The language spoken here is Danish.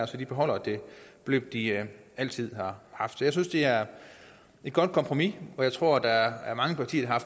så de beholder det beløb de altid har haft så jeg synes det er et godt kompromis jeg tror der er mange partier